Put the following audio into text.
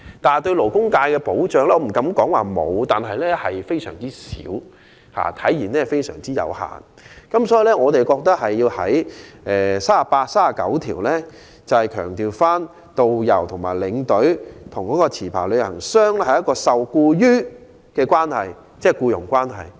至於對勞工界的保障，我不敢說沒有，但非常少及有限，所以我們認為《條例草案》第38及39條應強調導遊和領隊受僱於持牌旅行代理商，即彼此是僱傭關係。